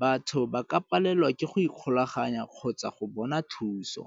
batho ba ka palelwa ke go ikgolaganya kgotsa go bona thuso.